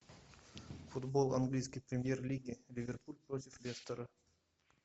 футбол английской премьер лиги ливерпуль против лестера